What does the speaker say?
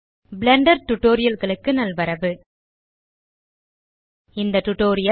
Blender Tutorialகளுக்கு நல்வரவு இந்த டியூட்டோரியல்